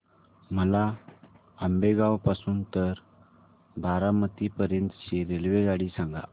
मला आंबेगाव पासून तर बारामती पर्यंत ची रेल्वेगाडी सांगा